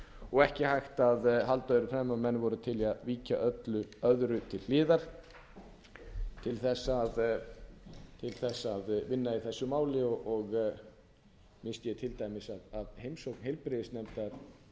og ekki hægt að halda öðru fram en að menn voru til í að víkja öllu öðru til hliðar til þess að vinna í þessu máli missti ég til dæmis af heimsókn heilbrigðisnefndar til